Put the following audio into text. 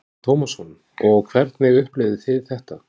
Telma Tómasson: Og hvernig upplifðuð þið þetta?